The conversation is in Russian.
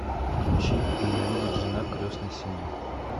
включи ненавидит жена крестной семьи